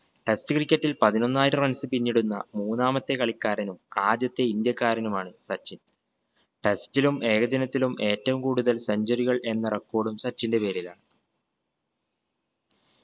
test cricket ഇൽ പതിനൊന്നായിരം runs പിന്നിടുന്ന മൂന്നാമത്തെ കളിക്കാരനും ആദ്യത്തെ ഇന്ത്യക്കാരനുമാണ് സച്ചിൻ test ലും ഏകദിനത്തിലും ഏറ്റവും കൂടുതൽ centuary കൾ എന്ന record ഉം സച്ചിന്റെ പേരിലാണ്